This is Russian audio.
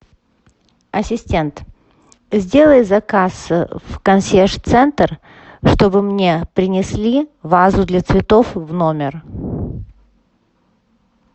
ассистент сделай заказ в консьерж центр чтобы мне принесли вазу для цветов в номер